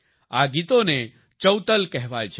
આ ગીતોને ચૌતલ કહેવાય છે